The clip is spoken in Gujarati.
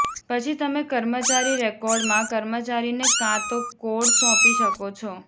પછી તમે કર્મચારી રેકોર્ડમાં કર્મચારીને કાં તો કોડ સોંપી શકો છો